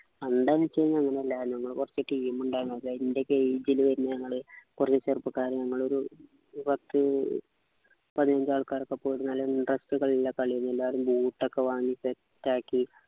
എന്താ ന്ന വെച്ച് കഴിഞ്ഞ അങ്ങനെയല്ലായിരുന്നു നമ്മള് team ഉണ്ടായിരുന്നു അത് എൻ്റെ ഒക്കെ age ലു വരുന്ന ഞങ്ങള് കുറച്ചു ചെറുപ്പക്കാര് നമ്മളൊരു പത്തു പതിനഞ്ചു ആൾക്കാരൊക്കെ പോയിരുന്നാല് എന്താ കളിയില്ല കളിയിലെല്ലാരും boot ഒക്കെ വാങ്ങീട്ട് track